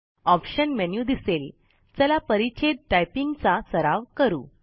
option menu दिसेल चला परिच्छेद टायपिंग चा सराव करू